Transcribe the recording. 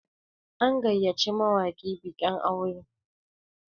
an gayyaci mawaki bikin aure